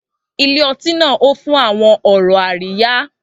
Ilé ọtí náà hó fún àwọn ọ̀rọ̀ àríyá.